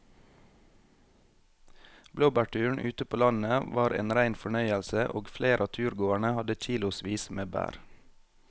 Blåbærturen ute på landet var en rein fornøyelse og flere av turgåerene hadde kilosvis med bær.